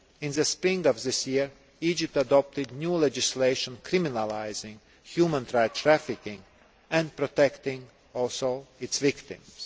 In the spring of this year, Egypt adopted new legislation criminalising human trafficking and also protecting its victims.